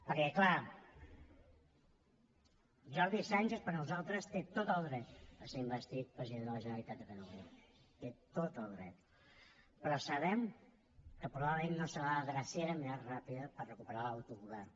perquè clar jordi sànchez per nosaltres té tot el dret a ser investit president de la generalitat de catalunya hi té tot el dret però sabem que probablement no serà la drecera més ràpida per recuperar l’autogovern